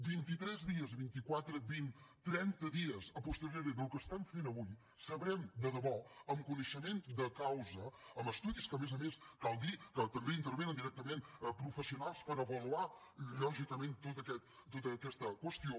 vint i tres dies i vint i quatre vint trenta dies a posteriori del que estem fent avui sabrem de debò amb coneixement de causa amb estudis que a més a més cal dir que també hi intervenen directament professionals per avaluar lògicament tota aquesta qüestió